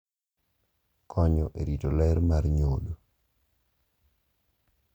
Konyo e rito ler mar nyodo